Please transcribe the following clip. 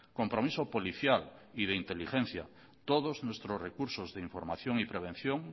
compromiso policial y de inteligencia todos nuestros recursos de información y prevención